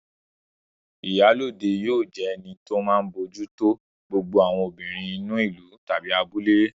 Ìyálóde yóò jẹ́ ẹni tó máa bójú tó gbogbo àwọn obìnrin inú ìlú/abúlé